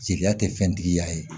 Jelita tɛ fɛntigiya ye